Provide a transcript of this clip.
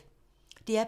DR P3